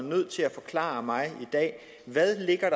nødt til at forklare mig i dag hvad der ligger